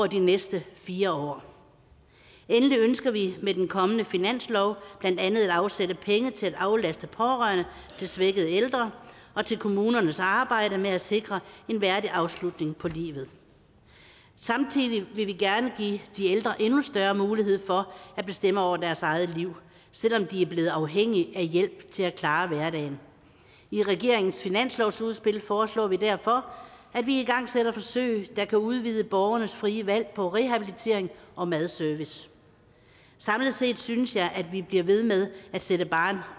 de næste fire år endelig ønsker vi med den kommende finanslov blandt andet at afsætte penge til at aflaste pårørende til svækkede ældre og til kommunernes arbejde med at sikre en værdig afslutning på livet samtidig vil vi gerne give de ældre endnu større mulighed for at bestemme over deres eget liv selv om de er blevet afhængige af hjælp til at klare hverdagen i regeringens finanslovsudspil foreslår vi derfor at vi igangsætter forsøg der kan udvide borgernes frie valg på rehabilitering og madservice samlet set synes jeg at vi bliver ved med at sætte barren